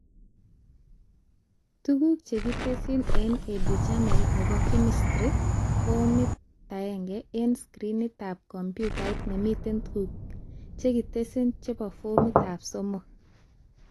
Tuguk chekitesyi eng Educhannel nebo Chemistry Form 1 eng screenitab komputait nemiten tuguk chekitesyi chebo Form 3